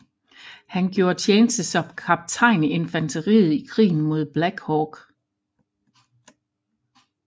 Han gjorde tjeneste som kaptajn i infanteriet i Krigen mod Black Hawk